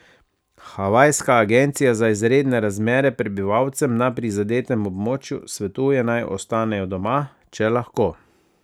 Havajska agencija za izredne razmere prebivalcem na prizadetem območju svetuje, naj ostanejo doma, če lahko.